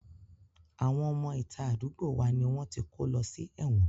Àwọn ọmọ ìta àdúgbò wa ni wọ́n ti kó lọ sí ẹ̀wọ̀n